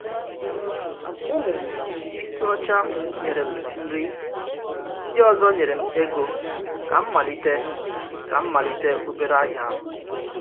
Ụmụ Isiocha nyere m nri, ndị ọzọ nyere m ego ka m malite ka m malite obere ahịa.